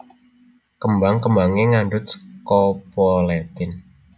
Kembang kembangé ngandhut scopoletin